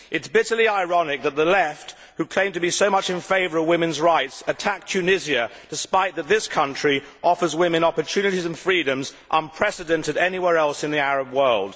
It is bitterly ironic that the Left, who claim to be so much in favour of women's rights, attack Tunisia despite the fact that this country offers women opportunities and freedoms unprecedented anywhere else in the Arab world.